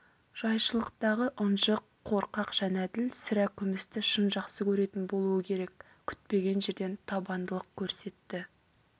жайшылықтағы ынжық қорқақ жәнәділ сірә күмісті шын жақсы көретін болуы керек күтпеген жерден табандылық көрсетті